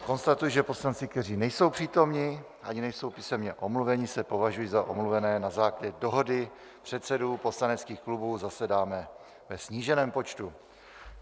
Konstatuji, že poslanci, kteří nejsou přítomni ani nejsou písemně omluveni, se považují za omluvené na základě dohody předsedů poslaneckých klubů, zasedáme ve sníženém počtu.